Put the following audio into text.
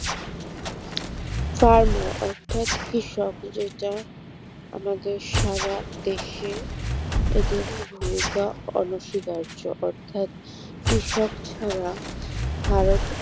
farmer অর্থাৎ কৃষক যেটা আমাদের সারাদেশে এদের ভূমিকা অনস্বীকার্য অর্থাৎ কৃষক ছাড়া ভারত